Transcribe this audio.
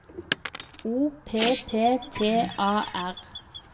O P P T A R